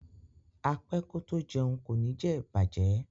A pẹ́ kó tó jẹun kò ní jẹ bàjẹ́.